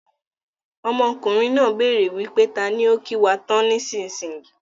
Ọmọkùnrin náà béèrè wípé taani ó kí wá tán ni ìsinsìnyí í.